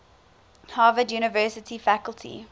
harvard university faculty